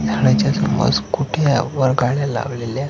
झाडाच्या समोर स्कूटया व गाड्या लावलेल्या--